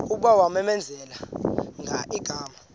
kuba kwamenzela igama